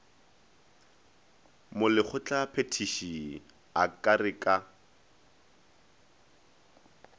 molekgotlaphethiši a ka re ka